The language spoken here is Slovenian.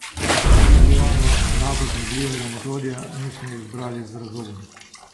Pri tiguanu enako zmogljivega motorja nismo izbrali z razlogom.